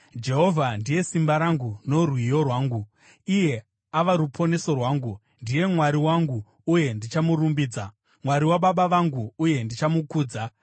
“Jehovha ndiye simba rangu norwiyo rwangu; iye ava ruponeso rwangu. Ndiye Mwari wangu, uye ndichamurumbidza, Mwari wababa vangu, uye ndichamukudza.